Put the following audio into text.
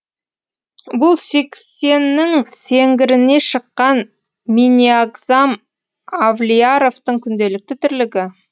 бұл сексеннің сеңгіріне шыққан минниагзам авлияровтың күнделікті тірлігі